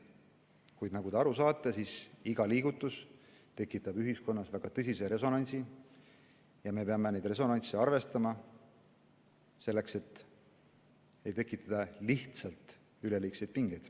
Kuid nagu te aru saate, siis iga liigutus tekitab ühiskonnas väga tõsise resonantsi ja me peame neid resonantse arvestama, et ei tekiks lihtsalt üleliigseid pingeid.